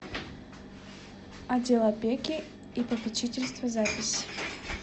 отдел опеки и попечительства запись